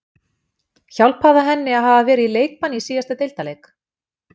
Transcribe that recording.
Hjálpaði það henni að hafa verið í leikbanni í síðasta deildarleik?